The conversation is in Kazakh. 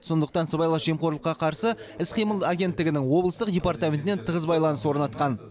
сондықтан сыбайлас жемқорлыққа қарсы іс қимыл агенттігінің облыстық департаментімен тығыз байланыс орнатқан